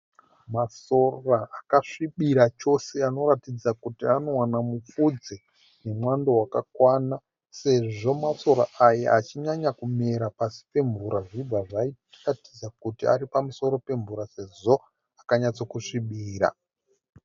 Masora akasvibira chose anoratidza kuti anowana mupfudze nemwando wakakwana sezvo masora aya achinyanya kumera pasi pemvura zvichibva zvatiratidza kuti ari pamusoro pemvura sezvo akanyatsokusvibira.